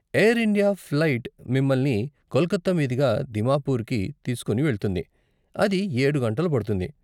Air India flight మిమ్మల్ని కొలకత్తా మీదుగా దిమాపుర్కి తీస్కుని వెళ్తుంది, అది ఏడు గంటలు పడుతుంది.